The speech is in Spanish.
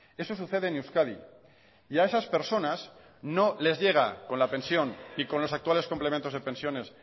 eso sucede en euskadi y a esas personas no les llega con la pensión y con los actuales complementos de pensiones